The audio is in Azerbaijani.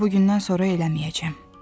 Amma bu gündən sonra eləməyəcəm.